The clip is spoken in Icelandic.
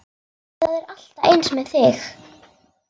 Það er alltaf eins með þig!